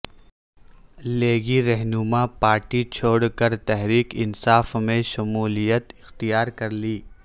لیگی رہنما نے پارٹی چھوڑ کر تحریک انصاف میں شمولیت اختیار کرلی